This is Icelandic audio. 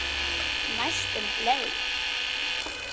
Næstum bleik.